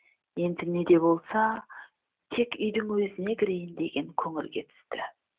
енді не де болса тек үйдің өзіне кірейін деген көңілге түсті